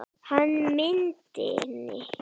Hann myndi sakna stráksins.